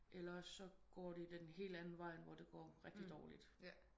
Eller så går det den helt anden vej end hvor det går rigtigt dårligt